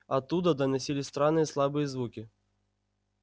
оттуда доносились странные слабые звуки